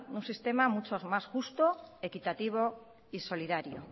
un sistema mucho más justo equitativo y solidario